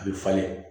A bɛ falen